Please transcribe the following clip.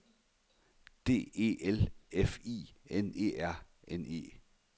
D E L F I N E R N E